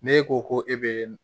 N'e ko ko e bɛ